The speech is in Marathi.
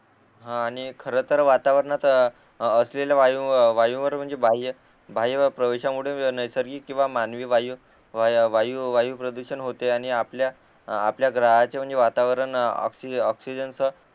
आणि खर तर वातावरणात असलेले वायू वायूवर म्हणजे बाहेरील प्रवेशामुळे नैसर्गिक किंवा मानवी वायू वायू प्रदूषण होते आणि आपल्या आपल्या घराच म्हणजे वातावरण ऑक्सिजन ऑक्सिजनच